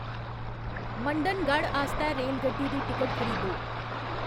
मंडनगढ़ आस्तै रेलगड्डी दी टिकट खरीदो